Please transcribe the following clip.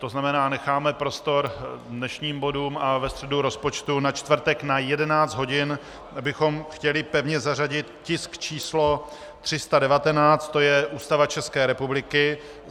To znamená, necháme prostor dnešním bodům a ve středu rozpočtu, na čtvrtek na 11 hodin bychom chtěli pevně zařadit tisk číslo 319, to je Ústava České republiky.